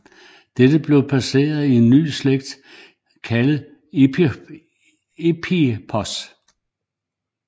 Dette blev placeret i en ny slægt kaldet Eohippos